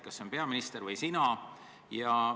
Kas see on peaminister või oled see sina?